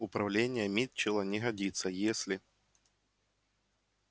управнение митчелла не годится если